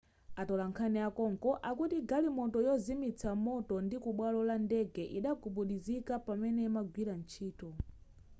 atolankhani akonko akuti galimoto yozimitsa moto kubwalo la ndege idagudubuzika pamene imagwira ntchito